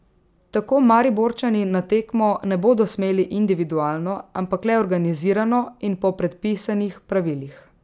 Tako Mariborčani na tekmo ne bodo smeli individualno, ampak le organizirano in po predpisanih pravilih.